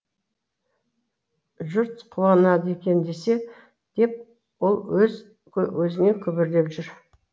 жұрт қуанады екен десе деп ол өз өзіне күбірлеп жүр